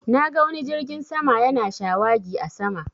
Na ga wani jirgin sama yana shawagi a sama